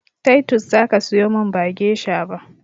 Taitos zaka siyomin ba gesha ba